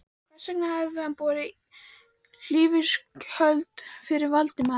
Hvers vegna hafði hann borið hlífiskjöld fyrir Valdimar?